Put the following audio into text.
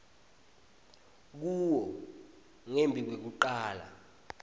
kuwo ngembi kwekucala